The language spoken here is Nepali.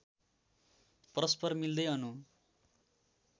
परस्पर मिल्दै अणु